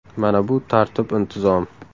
Mana bu tartib intizom!